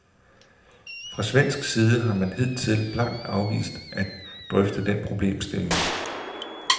Fra svensk side har man hidtil blankt afvist at drøfte den problemstilling.